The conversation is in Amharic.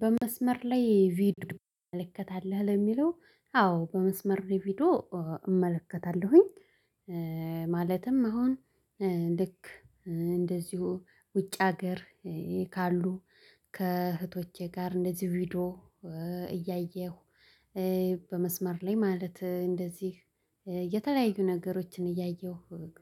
በመስመር ላይ ቪዲዮ ተመለከታለሁ ለሚለው አዎ በመስመር ቪዲዮ እመለከታለሁኝ። ማለትም አሁን ልክ እንደዚሁ ውጭ ሀገር ካሉ ከእህቶቼ ጋር እንደዚሁ ቪዲዮ እያየሁ። በመስመር ላይ ማለት እንደዚህ የተለያዩ ነገሮችን እያየሁ